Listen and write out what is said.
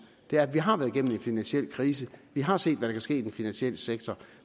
er at vi har været igennem en finansiel krise at vi har set hvad der kan ske i den finansielle sektor